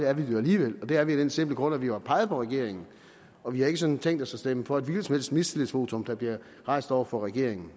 er vi det alligevel det er vi af den simple grund at vi har peget på regeringen og vi har ikke sådan tænkt os at stemme for et hvilket som helst mistillidsvotum der bliver rejst over for regeringen